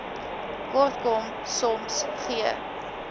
kortkom soms gee